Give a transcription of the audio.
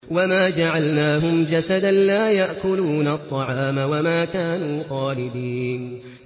وَمَا جَعَلْنَاهُمْ جَسَدًا لَّا يَأْكُلُونَ الطَّعَامَ وَمَا كَانُوا خَالِدِينَ